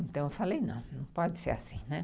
Então, eu falei, não, não pode ser assim, né.